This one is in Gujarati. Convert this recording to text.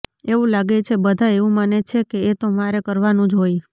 એવું લાગે છે બધા એવું માને છે કે એ તો મારે કરવાનું જ હોય